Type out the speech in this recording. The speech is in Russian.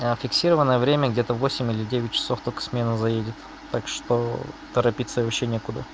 а фиксированное время где-то восемь или девять часов только смена заедет так что торопиться вообще некуда